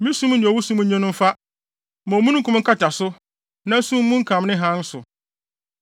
Ma sum ne owusum nnye no mfa; ma omununkum nkata so; na sum mmunkam ne hann so.